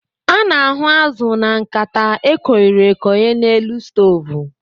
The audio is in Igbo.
A na-ahu azụ na nkata e koiri-ekoi n'elu stovu.